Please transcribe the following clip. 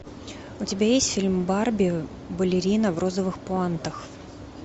у тебя есть фильм барби балерина в розовых пуантах